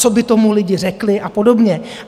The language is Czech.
Co by tomu lidi řekli a podobně.